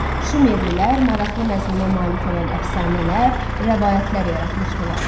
Şumerlilər maraqlı məzmuna malik olan əfsanələr, rəvayətlər yaratmışdılar.